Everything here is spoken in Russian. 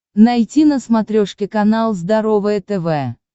найти на смотрешке канал здоровое тв